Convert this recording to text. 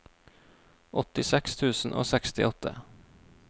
åttiseks tusen og sekstiåtte